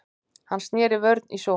Hann sneri vörn í sókn.